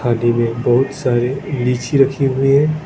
में बहुत सारी लीची रखी हुई है।